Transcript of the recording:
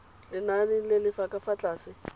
lenaneng le le fa tlase